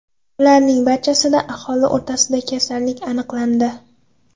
Ularning barchasida aholi orasida kasallik aniqlandi.